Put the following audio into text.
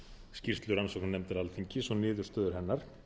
skýrslu rannsóknarnefndar alþingis og niðurstöður hennar